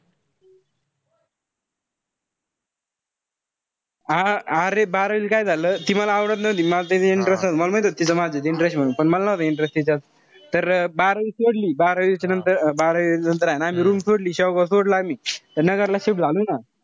हा अरे बारावीला काय झालं. ती मला आवडत नव्हती मला तिच्यात interest नव्हता. मला माहित होता तिचा माझ्यात interest होता. पण मल नव्हता interest नव्हता तिच्यात. तर बारावी सोडली. बारावीच्या नंतर, बारावी नंतर ए ना room सोडली. शेवगाव सोडला आम्ही. त नगरला